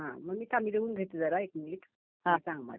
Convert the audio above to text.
हं थांब मी लिहून घेते जरा एक मिनिट. हां सांग मला